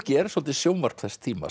er svolítið sjónvarp þess tíma